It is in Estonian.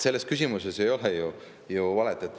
Selles küsimuses ei ole ju valet.